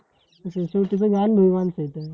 आलेली माणस आहेत